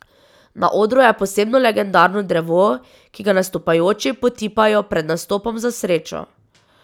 Na odru je posebno legendarno drevo, ki ga nastopajoči potipajo pred nastopom za srečo.